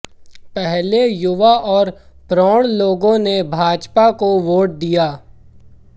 पहले युवा और प्रौढ़ लोगों ने भाजपा को वोट दिया